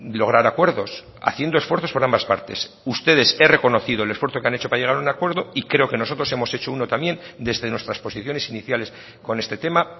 lograr acuerdos haciendo esfuerzos por ambas partes ustedes he reconocido el esfuerzo que han hecho para llegar a un acuerdo y creo que nosotros hemos hecho uno también desde nuestras posiciones iniciales con este tema